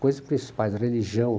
Coisas principais, religião.